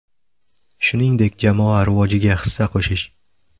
Shuningdek, jamoa rivojiga hissa qo‘shish.